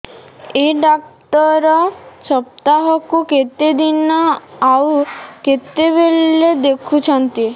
ଏଇ ଡ଼ାକ୍ତର ସପ୍ତାହକୁ କେତେଦିନ ଆଉ କେତେବେଳେ ଦେଖୁଛନ୍ତି